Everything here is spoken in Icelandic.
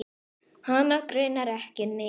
Hana grunar ekki neitt.